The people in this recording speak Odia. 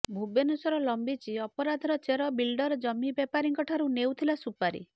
ଭୁବନେଶ୍ବର ଲମ୍ବିଛି ଅପରାଧର ଚେର ବିଲଡର ଜମି ବେପାରିଙ୍କଠାରୁ ନେଉଥିଲା ସୁପାରି